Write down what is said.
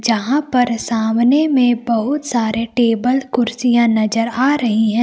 यहां पर सामने में बहुत सारे टेबल कुर्सियां नजर आ रही है।